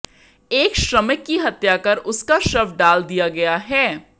एक श्रमिक की हत्या कर उसका शव डाल दिया गया है